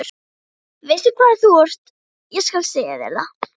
Veistu hvað þú ert, ég skal segja þér það.